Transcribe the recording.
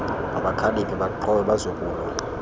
mabakhaliphe baaxhobe bazokulwa